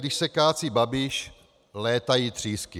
Když se kácí Babiš, létají třísky.